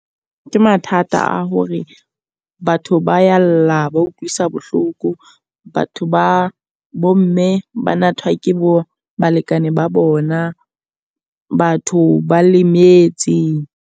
Ke mathata a hore batho ba ya lla, ba utlwisa bohloko. Batho ba bo mme ba nathwa ke bo balekane ba bona. Batho ba lemetse.